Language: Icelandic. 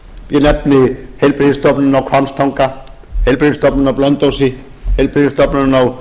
ég nefni heilbrigðisstofnunina á hvammstanga heilbrigðisstofnunina á blönduósi heilbrigðisstofnunina á